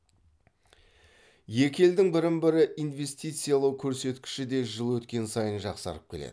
екі елдің бірін бірі инвестициялау көрсеткіші де жыл өткен сайын жақсарып келеді